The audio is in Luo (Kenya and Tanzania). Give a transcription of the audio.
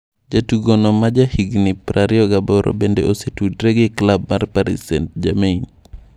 Jatugono ma ja higni 28 bende osetudre gi klab mar Paris St-Germain.